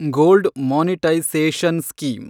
gold monetisation scheme